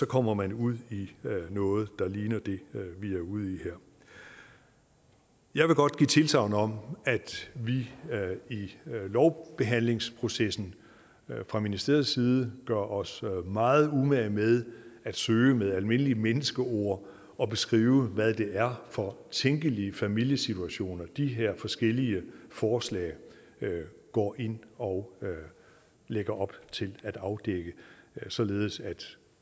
kommer man ud i noget der ligner det vi er ude i her jeg vil godt give tilsagn om at vi i lovbehandlingsprocessen fra ministeriets side gør os meget umage med at søge med almindelige menneskeord at beskrive hvad det er for tænkelige familiesituationer de her forskellige forslag går ind og lægger op til at afdække således at